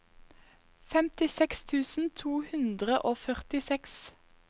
femtiseks tusen to hundre og førtiseks